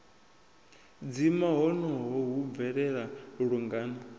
dzima honoho hu bvelela lungana